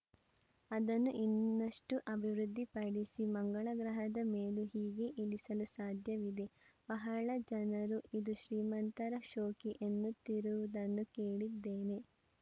ಅದನ್ನು ಇನ್ನಷ್ಟುಅಭಿವೃದ್ಧಿಪಡಿಸಿ ಮಂಗಳ ಗ್ರಹದ ಮೇಲೂ ಹೀಗೇ ಇಳಿಸಲು ಸಾಧ್ಯವಿದೆ ಬಹಳ ಜನರು ಇದು ಶ್ರೀಮಂತರ ಶೋಕಿ ಎನ್ನುತ್ತಿರುವುದನ್ನು ಕೇಳಿದ್ದೇನೆ